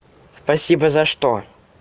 спасибо за что